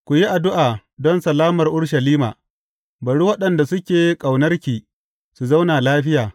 Ku yi addu’a don salamar Urushalima, Bari waɗanda suke ƙaunarki su zauna lafiya.